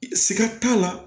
Siga t'a la